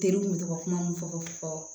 Ne kun bɛ to ka kuma mun fɔ fɔ